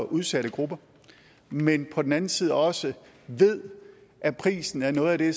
udsat gruppe men på den anden side også ved at prisen er noget af det